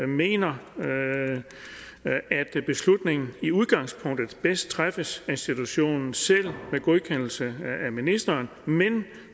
mener at beslutningen i udgangspunktet bedst træffes af institutionen selv med godkendelse af ministeren men